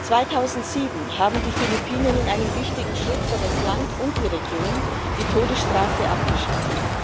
2007 haben die Philippinen in einem wichtigen Schritt für das Land und die Region die Todesstrafe abgeschafft.